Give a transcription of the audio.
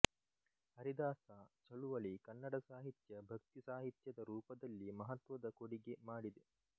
ಹರಿದಾಸ ಚಳುವಳಿ ಕನ್ನಡ ಸಾಹಿತ್ಯ ಭಕ್ತಿ ಸಾಹಿತ್ಯದ ರೂಪದಲ್ಲಿ ಮಹತ್ವದ ಕೊಡಿಗೆ ಮಾಡಿದೆ